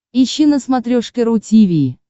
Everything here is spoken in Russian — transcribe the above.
ищи на смотрешке ру ти ви